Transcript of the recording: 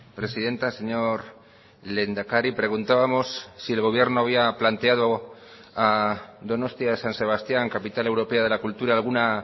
presidenta señor lehendakari preguntábamos si el gobierno había planteado a donostia san sebastián capital europea de la cultura alguna